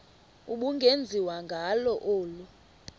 ubungenziwa ngalo olu